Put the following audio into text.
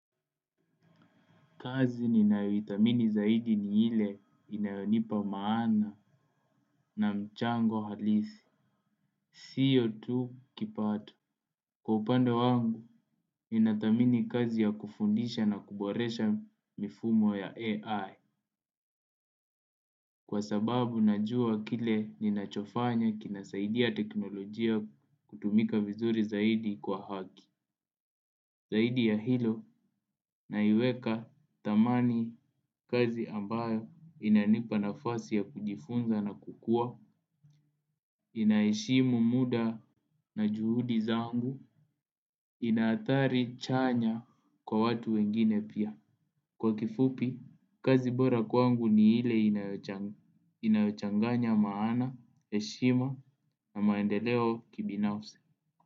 Kazi ninayoithamini zaidi ni ile inayonipa maana na mchango halisi. Sio tu kipato. Kwa upande wangu, ninathamini kazi ya kufundisha na kuboresha mifumo ya AI. Kwa sababu najua kile ninachofanya kinasaidia teknolojia kutumika vizuri zaidi kwa haki. Zaidi ya hilo naiweka thamani kazi ambayo inanipa nafasi ya kujifunza na kukua, inaheshimu muda na juhudi zangu, ina athari chanya kwa watu wengine pia. Kwa kifupi, kazi bora kwangu ni ile inayochanganya maana, heshima na maendeleo kibinafsi.